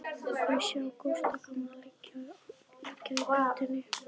Þau sjá Gústa gamla liggja í götunni.